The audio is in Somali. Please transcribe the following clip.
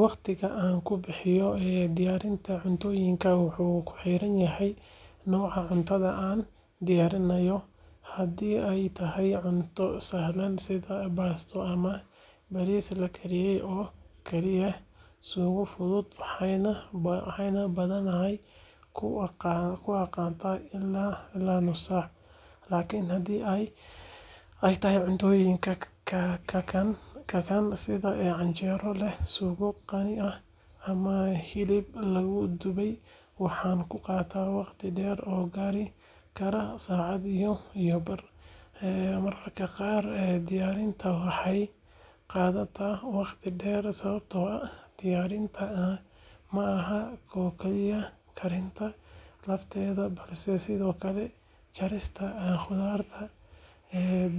Waqtiga aan ku bixiyo diyaarinta cuntooyinka wuxuu ku xiran yahay nooca cuntada aan diyaarinayo. Haddii ay tahay cunto sahlan sida baasto ama bariis la kariyey oo kaliya leh suugo fudud, waxaan badanaa ku qaataa ilaa nus saac. Laakiin haddii ay tahay cuntooyin kakana sida canjeero leh suugo qani ah ama hilib la dubay, waxaan qaataa waqti dheer oo gaari kara saacad iyo bar. Mararka qaar diyaarinta waxay qaadataa waqti dheer sababtoo ah diyaarinta ma aha oo keliya karinta lafteeda balse sidoo kale jarista khudaarta,